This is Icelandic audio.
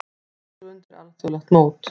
Búa sig undir alþjóðlegt mót